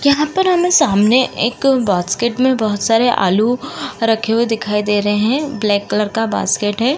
यहां पर हमें सामने एक बास्केट में बहुत सारे आलू रखे हुए दिखाई दे रहे है ब्लैक कलर का बास्केट है।